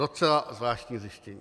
Docela zvláštní zjištění.